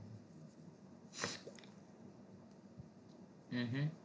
હમ હા